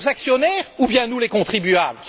Leurs actionnaires ou bien nous, les contribuables?